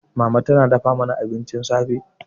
Mama tana dafa mana abincin safe.